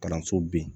Kalanso ben